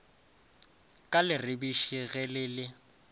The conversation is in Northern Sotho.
ka leribiši ge le le